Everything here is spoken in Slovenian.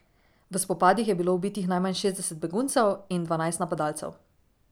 V spopadih je bilo ubitih najmanj šestdeset beguncev in dvanajst napadalcev.